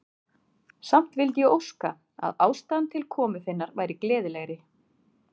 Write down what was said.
Samt vildi ég óska, að ástæðan til komu þinnar væri gleðilegri.